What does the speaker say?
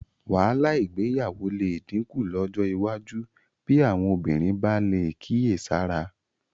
Wàhálà ìgbéyàwó lè dínkù lọ́jọ́ iwájú bí àwọn obìnrin bá lè kíyèsára